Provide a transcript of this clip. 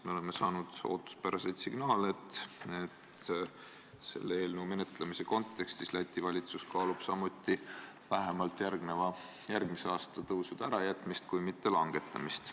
Me oleme saanud ootuspäraseid signaale, et selle eelnõu kontekstis Läti valitsus kaalub samuti vähemalt järgmise aasta tõusude ärajätmist, kui mitte aktsiiside langetamist.